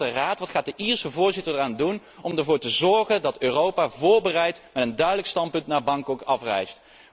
Wat gaat de Raad doen, wat gaat de Ierse voorzitter eraan doen om ervoor te zorgen dat Europa voorbereid met een duidelijk standpunt naar Bangkok afreist?